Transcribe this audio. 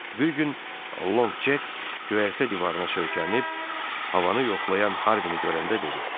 Bir gün Long Jek göyərtə divarına söykənib havanı yoxlayan Harvini görəndə dedi: